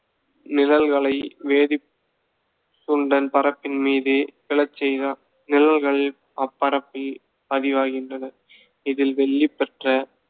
நிழல்களை வேதி~ பரப்பின் மீது விழச் செய்தார். நிழல்கள் அப்பரப்பில் பதிவாகின்றன. இதில் வெள்ளி பெற்ற.